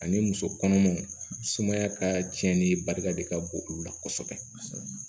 Ani musokɔnɔmaw sumaya ka cɛnni barika de ka bon olu la kɔsɔbɛ